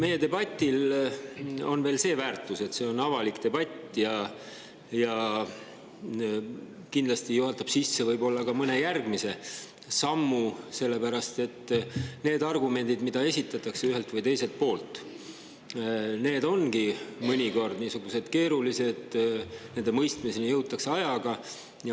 Meie debatil on veel see väärtus, et see on avalik ja juhatab sisse võib-olla ka mõne järgmise sammu, sest need argumendid, mida esitatakse ühelt või teiselt poolt, ongi mõnikord niisugused keerulised, nende mõistmiseni jõutakse ajaga.